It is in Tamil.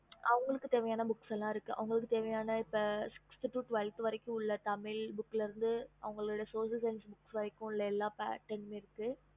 mam